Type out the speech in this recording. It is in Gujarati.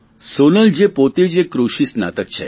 સોનલ જે પોતે જ એક કૃષિ સ્નાતક છે